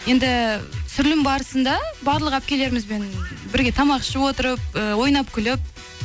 енді түсірілім барысында барлық әпкелерімізбен бірге тамақ ішіп отырып э ойнап күліп